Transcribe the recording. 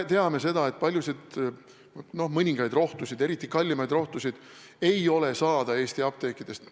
Me teame seda, et mõningaid rohtusid, eriti kallimaid rohtusid ei ole Eesti apteekides saada.